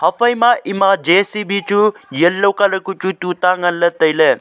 ephai ma ema jcb chu yellow colour kuk chu tuita ngan ley tailey.